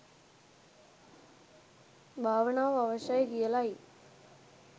භාවනාව අවශ්‍යයි කියලයි.